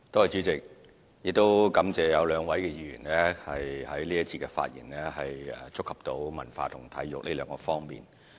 主席，感謝有兩位議員在這一節的發言觸及文化及體育兩方面。